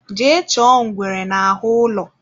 Jee chọọ ngwere n'ahụ ụlọ